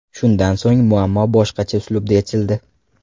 Shundan so‘ng muammo boshqacha uslubda yechildi.